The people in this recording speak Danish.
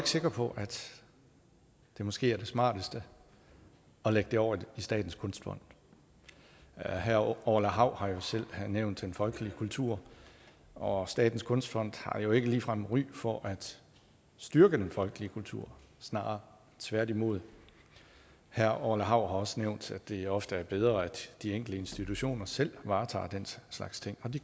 sikre på at det måske er det smarteste at lægge det over i statens kunstfond herre orla hav har selv nævnt den folkelige kultur og statens kunstfond har jo ikke ligefrem ry for at styrke den folkelige kultur snarere tværtimod herre orla hav har også nævnt det ofte er bedre at de enkelte institutioner selv varetager den slags ting og det